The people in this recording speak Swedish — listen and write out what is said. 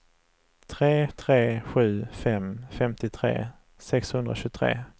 tre tre sju fem femtiotre sexhundratjugotre